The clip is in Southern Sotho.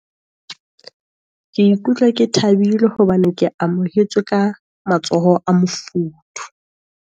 Ke ikutlwa ke thabile, hobane ke amohetswe ka matsoho a mofuthu.